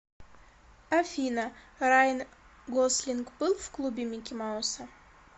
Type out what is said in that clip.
афина райан гослинг был в клубе микки мауса